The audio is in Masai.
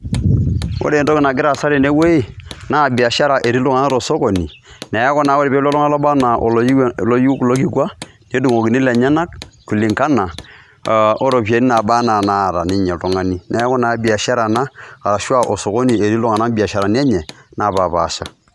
Ore entoki nagira aasa tene wuei naa biashara etii iltung'anak to sokoni neeku naa ore pee elotu oltung'ani labaa naa oloyiu kulo kikua, nedung'okini lenyenak kulingana o ropiani naa naba naata ninye oltung'ani. Neeku naa biashara ena ashu a osokoni etii iltung'anak biasharani enye napaapasha.